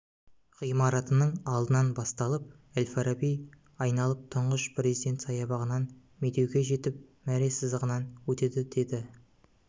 ғимарытының алдынан басталып әл-фараби айналып тұңғыш президент саябағынан медеу ге жетіп мәре сызығынан өтеді деді